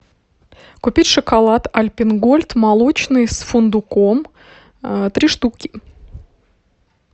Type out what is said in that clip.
купить шоколад альпен гольд молочный с фундуком три штуки